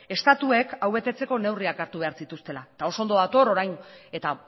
estatuek hau betetzeko neurriak hartu behar zituztela eta oso ondo dator orain eta